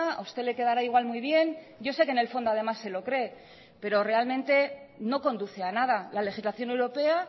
a usted le quedará igual muy bien yo sé que en el fondo además se lo cree pero realmente no conduce a nada la legislación europea